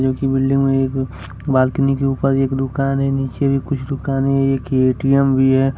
Building में एक balcony के ऊपर एक दुकान है नीचे भी कुछ दुकानें हैं एक ए_टी_एम भी है।